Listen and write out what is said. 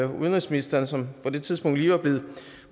udenrigsministeren som på det tidspunkt lige var blevet